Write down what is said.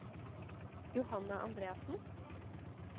Johanna Andreassen